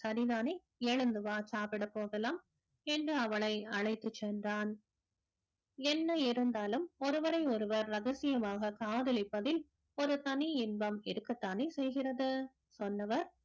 சரிதானே எழுந்து வா சாப்பிடப் போகலாம் என்று அவளை அழைத்துச் சென்றான் என்ன இருந்தாலும் ஒருவரை ஒருவர் ரகசியமாக காதலிப்பதில் ஒரு தனி இன்பம் இருக்கத்தானே செய்கிறது சொன்னவர்